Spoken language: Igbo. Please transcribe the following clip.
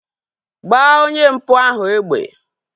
Gbaa onye mpụ ahu egbe!